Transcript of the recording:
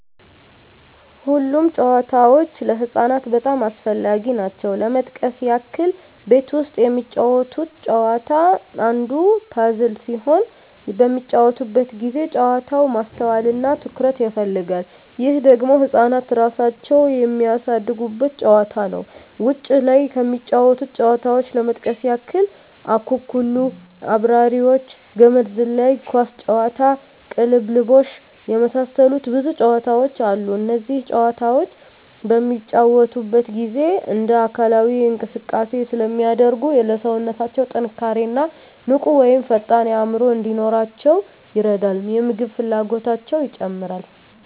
ሁሉም ጨዋታዎች ለህፃናት በጣም አስፈላጊ ናቸው ለመጥቀስ ያክል ቤት ውስጥ የሚጫወቱት ጨዋታ አንዱ ፐዝል ሲሆን በሚጫወቱበት ጊዜ ጨዋታው ማስተዋል እና ትኩረት ይፈልጋል ይህ ደግሞ ህፃናት እራሳቸውን የሚያሳድጉበት ጨዋታ ነው ውጭ ላይ ከሚጫወቱት ጨዋታዎች ለመጥቀስ ያክል አኩኩሉ....፣አብራሪዎች፣ ገመድ ዝላይ፣ ኳስ ጨዋታ፣ ቅልብልቦሽ የመሳሰሉት ብዙ ጨዋታዎች አሉ እነዚህ ጨዋታዎች በሚጫወቱበት ጊዜ እንደ አካላዊ እንቅስቃሴ ስለሚያደርጉ ለሠውነታው ጥንካሬ እና ንቁ ወይም ፈጣን አዕምሮ እንዲኖራቸው ይረዳል የምግብ ፍላጎታቸው ይጨምራል